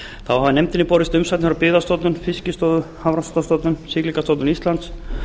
þá hafa nefndinni borist umsagnir frá byggðastofnun fiskistofu hafrannsóknastofnuninni siglingastofnun íslands